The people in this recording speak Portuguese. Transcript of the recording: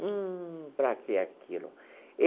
Hum, para que aquilo?